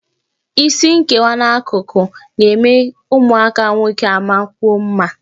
Isi nkewa n'akụkụ na-eme ụmụaka nwoke amakwuo mma